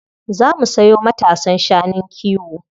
Za mu sayo matasan shanun kiwo.